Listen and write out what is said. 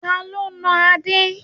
Ta ló nà Adé?